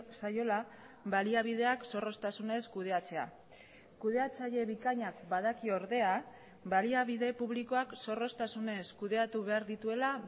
zaiola baliabideak zorroztasunez kudeatzea kudeatzaile bikainak badaki ordea baliabide publikoak zorroztasunez kudeatu behar dituela